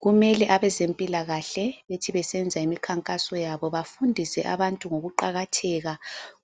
Kumele abezempilakahle bethi besenza imikhankaso yabo bafundise abantu ngoku qakatheka